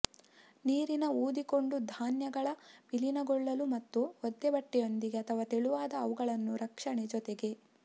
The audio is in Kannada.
ನೀರಿನ ಊದಿಕೊಂಡು ಧಾನ್ಯಗಳ ವಿಲೀನಗೊಳ್ಳಲು ಮತ್ತು ಒದ್ದೆಬಟ್ಟೆಯೊಂದಿಗೆ ಅಥವಾ ತೆಳುವಾದ ಅವುಗಳನ್ನು ರಕ್ಷಣೆ ಜೊತೆಗೆ